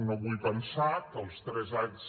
no vull pensar que els tres anys